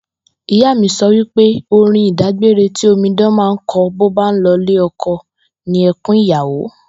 Ìyá mi so̩ pé orin ìdágbére ti omidan máa ń ko̩ bó bá ń lo̩ ilé o̩ko̩ ni e̩kún ìyàwó